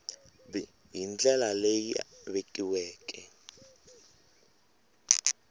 b hi ndlela leyi vekiweke